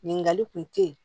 Ɲininkali kun te ye